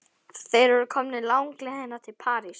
Þeir eru komnir langleiðina til Parísar.